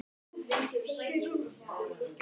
Hvernig lýst þér á að mæta Keflavík?